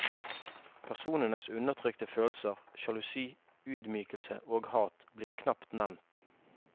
Personenes undertrykte følelser, sjalusi, ydmykelse og hat, blir knapt nevnt.